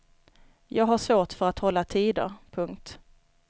Jag har svårt för att hålla tider. punkt